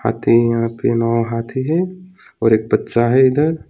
तीन यहां पे नौ हाथी हैं और एक बच्चा है इधर।